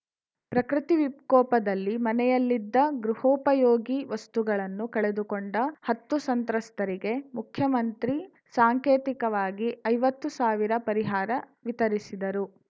ಪ್ರಕೃತಿ ವಿಕೋಪದಲ್ಲಿ ಮನೆಯಲ್ಲಿದ್ದ ಗೃಹೋಪಯೋಗಿ ವಸ್ತುಗಳನ್ನು ಕಳೆದುಕೊಂಡ ಹತ್ತು ಸಂತ್ರಸ್ತರಿಗೆ ಮುಖ್ಯಮಂತ್ರಿ ಸಾಂಕೇತಿಕವಾಗಿ ಐವತ್ತು ಸಾವಿರ ಪರಿಹಾರ ವಿತರಿಸಿದರು